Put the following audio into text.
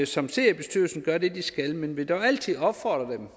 som sidder i bestyrelsen gør det de skal men vil dog altid opfordre dem